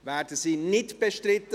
– Werden sie nicht bestritten?